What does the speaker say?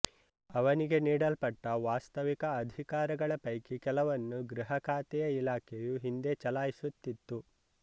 ಅವನಿಗೆ ನೀಡಲ್ಪಟ್ಟ ವಾಸ್ತವಿಕ ಅಧಿಕಾರಗಳ ಪೈಕಿ ಕೆಲವನ್ನು ಗೃಹಖಾತೆಯ ಇಲಾಖೆಯು ಹಿಂದೆ ಚಲಾಯಿಸುತ್ತಿತ್ತು